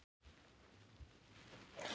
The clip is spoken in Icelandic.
Jú, ég vil alveg koma í heimsókn til þín.